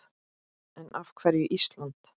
En af hverju Ísland?